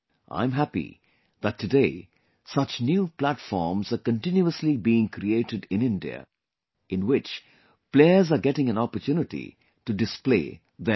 I am happy that today such new platforms are continuously being created in India, in which players are getting an opportunity to display their potential